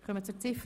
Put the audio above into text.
Zu Ziffer